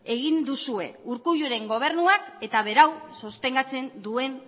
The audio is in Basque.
egin duzue urkulluren gobernuak eta berau sostengatzen duen